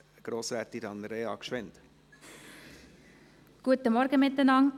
Kommissionssprecherin der SiK-Minderheit.